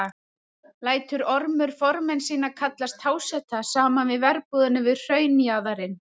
Lætur Ormur formenn sína kalla háseta saman að verbúðinni við hraunjaðarinn.